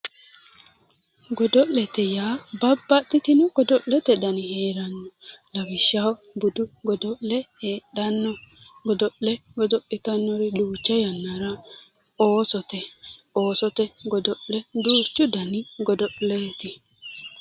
Godo'ete yaa babbaxxitino godo'lete dani heeranno lawishshaho budu godo'le heedhanno godo'le godo'litannori duucha yannara oosote oosote godo'le duuchu dani godo'leeti